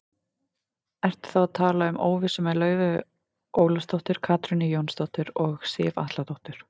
Ertu þá að tala um óvissu með Laufeyju Ólafsdóttur, Katrínu Jónsdóttur og Sif Atladóttur?